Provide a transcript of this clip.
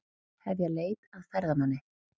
Hefja leit að ferðamanni